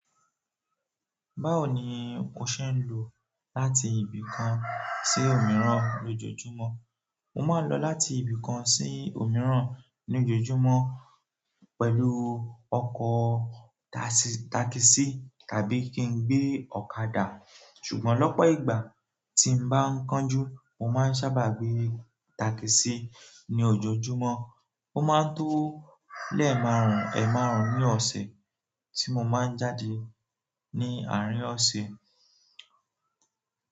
Báwo ni o ṣe ń lò láti ibì kan sí òmíràn lójoojúmọ́? Mo máa ń lọ láti ibì kan sí òmíràn ní ojoojúmọ́ pẹ̀lú ọkọ̀ takisí tàbí kí n gbé ọ̀kadà. Ṣùgbọ́n lọ́pọ̀ ìgbà tí mo bá ń kánjú, mo máa ń sábà gbé takisí ní ojoojúmọ́. Ó máa ń to lẹ́ẹ̀ márùn-ún, ẹ́ẹ̀ márùn-ún ní ọ̀sẹ̀ tí mo máa ń jáde ní àárín ọ̀sẹ̀.